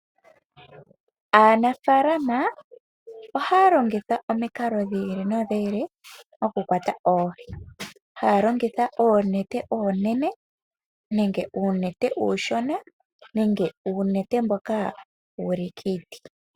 Aanafaalama ohaya longitha omikalo dhiili nodhiili okukwata oohi, haya longitha oonete oonene nenge uunete uushona nenge uunete mboka wuli kiiti.